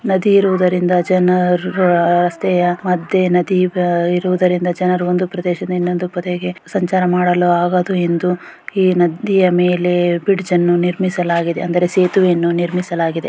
ನದಿ ಇರುವುದರಿಂದ ಜನರು ನದಿ ಇರುವುದರಿಂದ ಜನರು ಒಂದು ಪ್ರದೇಶದಿಂದ ಇನ್ನೊಂದು ಪ್ರದೇಶಕ್ಕೆ ಸಂಚಾರ ಮಾಡಲು ಆಗಲು ಎಂದು ಈ ನದಿಯ ಮೇಲೆ ಬ್ರಿಜ್ ಅನ್ನು ನಿರ್ಮಿಸಲಾಗಿದೆ ಅಂದ್ರೆ ಸೇತುವೆಯನ್ನು ನಿರ್ಮಿಸಲಾಗಿದೆ .